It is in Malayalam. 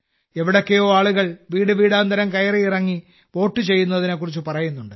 എവിടെയൊക്കെയോ ആളുകൾ വീടുവീടാന്തരം കയറിയിറങ്ങി വോട്ട് ചെയ്യുന്നതിനെക്കുറിച്ച് പറയുന്നുണ്ട്